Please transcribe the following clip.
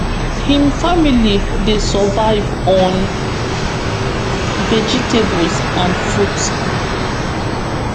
im family dey survive on vegetables and fruit